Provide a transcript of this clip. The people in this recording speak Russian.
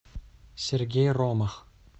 сергей ромах